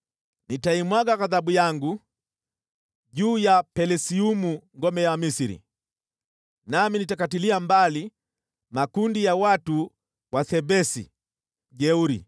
Nitaimwaga ghadhabu yangu juu ya Pelusiumu, ngome ya Misri, nami nitakatilia mbali makundi ya wajeuri wa Thebesi.